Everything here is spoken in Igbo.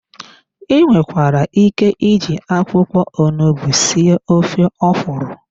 I nwekwara ike iji akwụkwọ onugbu sie ofe ọkwụrụ.